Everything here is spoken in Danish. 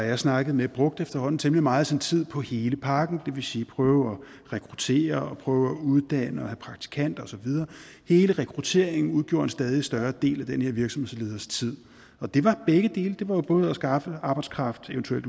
har snakket med brugte efterhånden temmelig meget af sin tid på hele pakken det vil sige prøve at rekruttere og prøve at uddanne og have praktikanter og så videre hele rekrutteringen udgjorde en stadig større del af den her virksomhedsleders tid og det var begge dele det var jo både at skaffe arbejdskraft evt